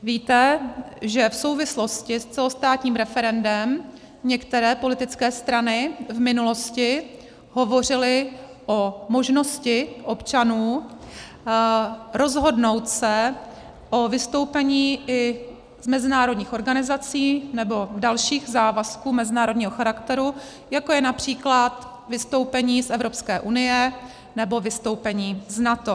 Víte, že v souvislosti s celostátním referendem některé politické strany v minulosti hovořily o možnosti občanů rozhodnout se o vystoupení i z mezinárodních organizací nebo dalších závazků mezinárodního charakteru, jako je například vystoupení z Evropské unie nebo vystoupení z NATO.